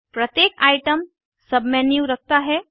प्रत्येक item submenu रखता है